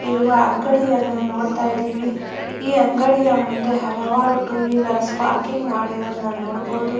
ಇರುವ ಅಂಗಡಿಯನ್ನು ನೋಡತ್ತಾ ಇದೀವಿ ಈ ಅಂಗಡಿಯ ಮುಂದೆ ಹಲವಾರು ಟೂ ವೀಲರಸ್ ಪಾರ್ಕಿಂಗ್ ಮಾಡಿರೊದ್ನ್ ನೋಡಬಹುದು.